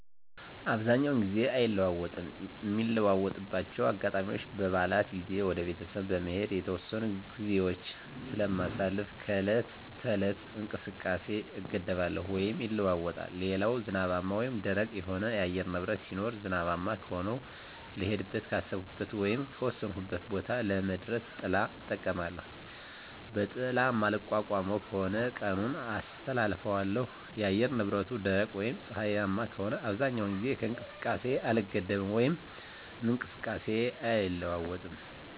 አብዛኛውን ጊዜ አይለወጥም ሚለወጥባቸው አጋጣሚዎች በበዓላት ጊዜ ወደ ቤተሰብ በመሄድ የተወሰኑ ግዜዎች ስለማሳልፍ ከዕለት ተዕለት እንቅስቃሴየ እገደባለው ወይም ይለወጣል ሌላው ዝናባማ ወይም ደረቅ የሆነ የአየር ንብረት ሲኖር ዝናባማ ከሆነ ልሄድበት ካሰብኩት ወይም ከወሰንኩት ቦታ ለመድረስ ጥላ እጠቀማለሁ በጥላ ማልቋቋመው ከሆነ ቀኑን አስተላልፋለሁ የአየር ንብረቱ ደረቅ ወይም ፀሀያማ ከሆነ አብዛኛውን ጊዜ ከእንቅስቃሴ አልገደብም ወይም እንቅስቃሴየ አይለዋወጥም